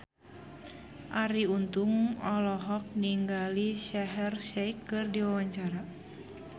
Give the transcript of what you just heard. Arie Untung olohok ningali Shaheer Sheikh keur diwawancara